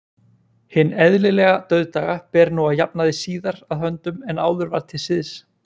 Hinn eðlilega dauðdaga ber nú að jafnaði síðar að höndum en áður var til siðs.